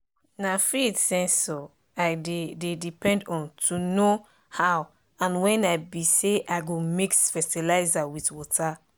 na field sensor i dey dey depend on to know how and when i be say i go mix fertilizer with water.